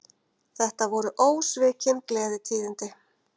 Þetta voru ósvikin gleðitíðindi